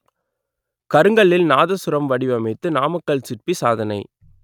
கருங்கல்லில் நாதசுரம் வடிவமைத்து நாமக்கல் சிற்பி சாதனை